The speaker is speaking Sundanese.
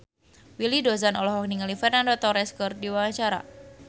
Willy Dozan olohok ningali Fernando Torres keur diwawancara